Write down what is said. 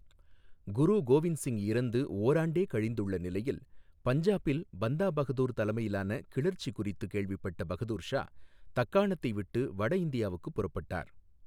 குரு கோவிந்த் சிங் இறந்து ஓராண்டே கழிந்துள்ள நிலையில் பஞ்சாபில் பந்தா பகதூர் தலைமையிலான கிளர்ச்சி குறித்து கேள்விப்பட்ட பகதூர் ஷா, தக்காணத்தை விட்டு வட இந்தியாவுக்குப் புறப்பட்டார்.